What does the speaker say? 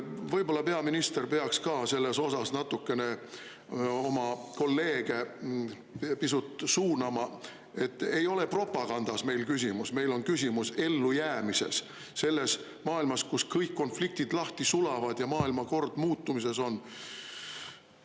Võib-olla peaminister peaks ka selles osas natukene oma kolleege pisut suunama, et ei ole propagandas meil küsimus – meil on küsimus ellujäämises selles maailmas, kus kõik konfliktid lahti sulavad ja maailmakord muutumises on.